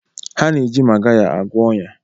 Ha na-eji Magaya agwọ ọnya.